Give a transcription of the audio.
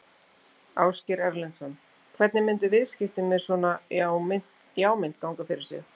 Ásgeir Erlendsson: Hvernig myndu viðskipti með svona já mynt ganga fyrir sig?